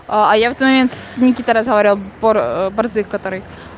а я в тот момент с никитой разговаривала борзых который